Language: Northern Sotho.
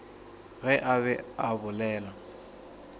ge a be a bolela